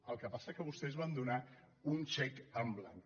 el que passa és que vostès van donar un xec en blanc